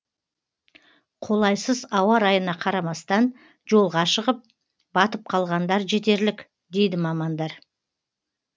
қолайсыз ауа райына қарамастан жолға шығып батып қалғандар жетерлік дейді мамандар